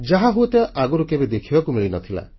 ଯାହା ହୁଏତ ଆଗରୁ କେବେ ଦେଖିବାକୁ ମିଳିନଥିଲା